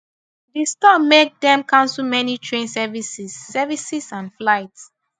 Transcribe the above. di storm make dem cancel many train services services and flights